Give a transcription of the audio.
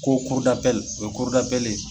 Ko o ye ye.